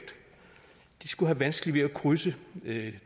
skulle have vanskeligt ved at krydse det